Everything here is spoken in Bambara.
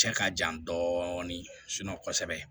Cɛ ka jan dɔɔnin kɔsɛbɛ